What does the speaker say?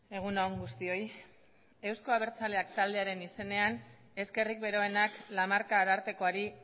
egun on guztioi eusko abertzaleak taldearen izenean eskerrik beroenak lamarca arartekoari